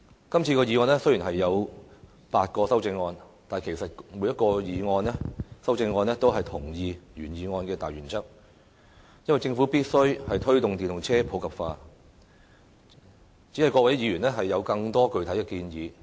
雖然今次的議案有8項修正案，但各項修正案也同意原議案的大原則，認為政府必須推動電動車普及化，只是各位議員有更多具體的建議。